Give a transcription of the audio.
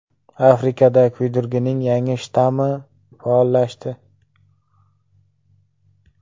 Afrikada kuydirgining yangi shtammi faollashdi.